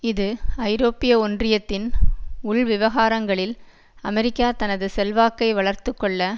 இது ஐரோப்பிய ஒன்றியத்தின் உள் விவகாரங்ளில் அமெரிக்கா தனது செல்வாக்கை வளர்த்துக்கொள்ள